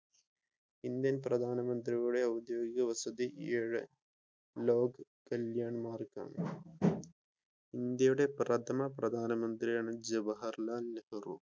Indian പ്രധാനമന്ത്രിയുടെ ഔദ്യോഗിക വസതി ലോഗ് കല്യാൺ മാർഗ്ഗ് ആണ് ഇന്ത്യയുടെ പ്രഥമ പ്രധാനമന്ത്രിയാണ് ജവാഹർലാൽ നെഹ്‌റു.